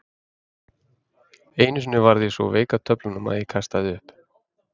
Einu sinni varð ég svo veik af töflunum að ég kastaði upp.